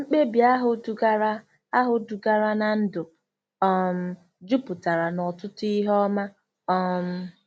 Mkpebi ahụ dugara ahụ dugara ná ndụ um jupụtara n'ọtụtụ ihe ọma um.